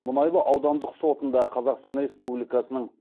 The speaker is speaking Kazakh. мұнайлы аудандық сотында қазақстан республикасының